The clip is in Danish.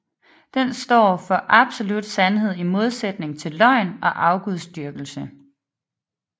Den står for absolut sandhed i modsætning til løgn og afgudsdyrkelse